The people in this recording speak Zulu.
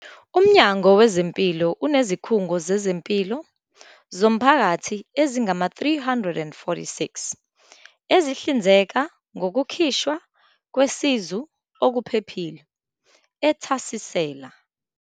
UMnyango Wezempilo unezikhungo zezempilo zomphakathi ezingama-346 ezihlinzeka ngokukhishwa kwesizu okuphephile, ethasisela.